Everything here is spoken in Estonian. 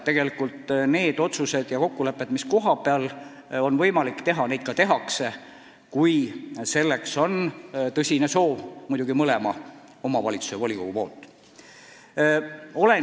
Seega võib järeldada, et kohapeal on võimalik üleminek teha, kui selleks on olemas mõlema omavalitsuse volikogu tõsine soov.